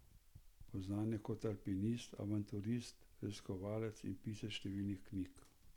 Poznan je kot alpinist, avanturist, raziskovalec in pisec številnih knjig.